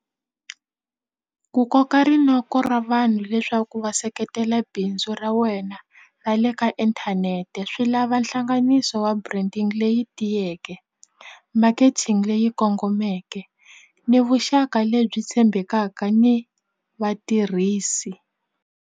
Ku koka rinoko ra vanhu leswaku va seketela bindzu ra wena ra le ka inthanete swi lava hlanganiso wa branding leyi tiyeke marketing leyi kongomeke ni vuxaka lebyi tshembekaka ni vatirhisi.